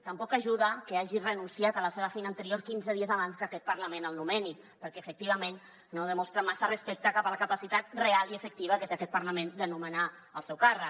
tampoc hi ajuda que hagi renunciat a la seva feina anterior quinze dies abans que aquest parlament el nomeni perquè efectivament no demostra massa respecte cap a la capacitat real i efectiva que té aquest parlament de nomenar el seu càrrec